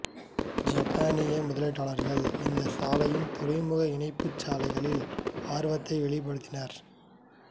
சப்பனீய முதலீட்டாளர்கள் இந்த சாலையின் துறைமுக இணைப்பு சாலைகளில் ஆர்வத்தை வெளிப்படுத்தினர்